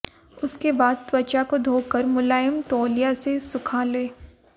उसके बाद त्वचा को धो कर मुलायम तौलिया से सुखा लें